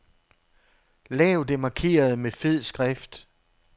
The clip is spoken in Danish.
Lav det markerede med fed skrift.